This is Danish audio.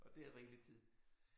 Og det er rigeligt tid